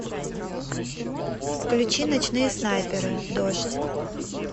включи ночные снайперы дождь